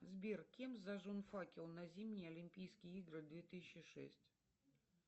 сбер кем зажжен факел на зимние олимпийские игры две тысячи шесть